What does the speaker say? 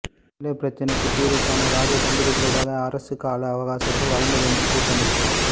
தமிழர் பிரச்சினைக்கு தீர்வுகாண இராஜதந்திரிகளூடாக அரசுக்கு கால அவகாசத்தை வழங்கவேண்டும் கூட்டமைப்பு